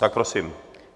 Tak prosím.